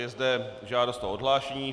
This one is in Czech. Je zde žádost o odhlášení.